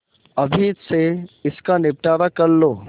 अभी से इसका निपटारा कर लो